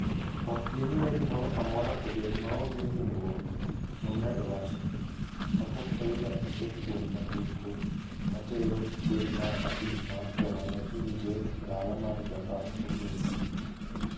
Ok giniwe gimoro amora obed maonge hinyruok, nomedo wacho, kapok oidho achiel kuom nyamburko matero kweth mar abich mar joma ne idhi ter e dala mar Jarablus.